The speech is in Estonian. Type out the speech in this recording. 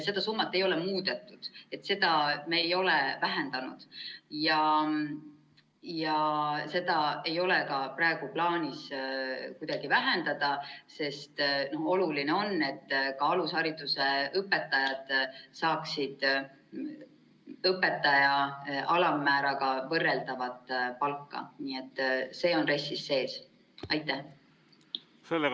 Seda summat ei ole muudetud, seda me ei ole vähendanud ja seda ei ole ka praegu plaanis kuidagi vähendada, sest oluline on, et ka alushariduse õpetajad saaksid õpetaja palga alammääraga võrreldavat palka, nii et see on RES-is sees.